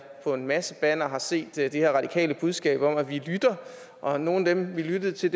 på en masse bannere har set det her radikale budskab om at vi lytter og nogle af dem man lyttede til